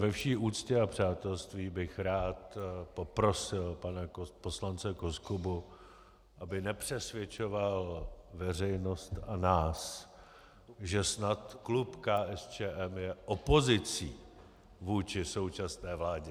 Ve vší úctě a přátelství bych rád poprosil pana poslance Koskubu, aby nepřesvědčoval veřejnost a nás, že snad klub KSČM je opozicí vůči současné vládě.